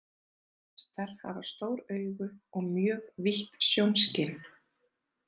Hestar hafa stór augu og mjög vítt sjónskyn.